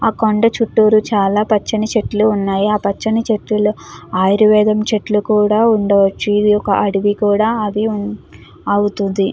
ఆ కొండ చుట్టూరు చాలా పచ్చని చెట్లు ఉన్నాయి. ఆ పచ్చని చెట్టులో ఆయుర్వేదం చెట్లు కూడా ఉండవచ్చు. ఇది ఒక అడవి కూడా అది అవుతుంది.